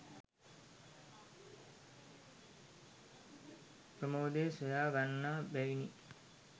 ප්‍රමෝදය සොයා ගන්නා බැවිනි.